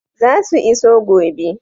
Zasu iso gobe.